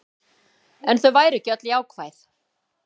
En þau væru ekki öll jákvæð